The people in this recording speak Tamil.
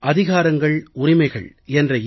அதிகாரங்களும் உரிமைகளும் இரு தண்டவாளங்கள்